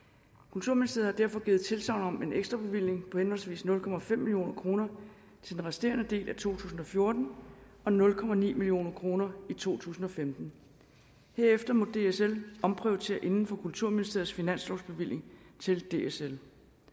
kulturministeriet har derfor givet tilsagn om en ekstrabevilling på henholdsvis nul million kroner til den resterende del af to tusind og fjorten og nul million kroner i to tusind og femten herefter må dsl omprioritere inden for kulturministeriets finanslovsbevilling til dsl